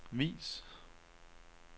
vis